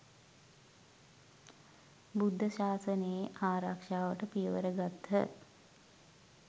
බුද්ධ ශාසනයේ ආරක්‍ෂාවට පියවර ගත්හ.